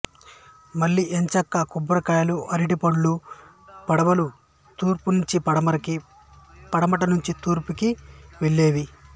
మళ్ళీ ఇంచక్కా కొబ్బరికాయలు అరిటిపళ్ళ పడవలూ తూర్పునించి పడమరకీ పడమటినుంచి తూర్పు వేపుకీ వెళ్ళేవి